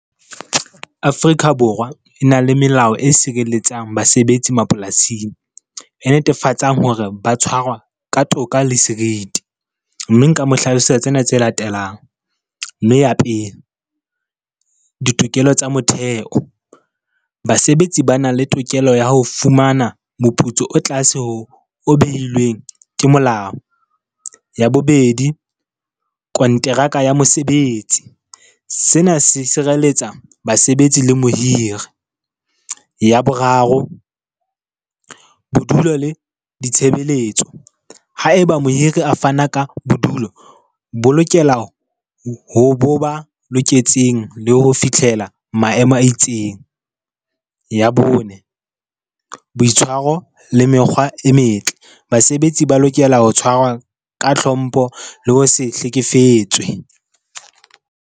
Afrika Borwa e na le melao e sireletsang basebetsi mapolasing e netefatsang hore ba tshwarwa ka toka le seriti. Mme nka mo hlalosetsa tsena tse latelang. Mme ya pele, ditokelo tsa motheo. Basebetsi bana le tokelo ya ho fumana moputso o tlase ho o behilweng ke molao. Ya bobedi, konteraka ya mosebetsi. Sena se sireletsa basebetsi le mohiri. Ya boraro, bodulo le ditshebeletso. Ha eba mohiri a fana ka bodulo, bo lokela ho bo ba loketseng le ho fitlhela maemo a itseng. Ya bone, boitshwaro le mekgwa e metle. Basebetsi ba lokela ho tshwarwa ka hlompho le ho se hlekefetswe.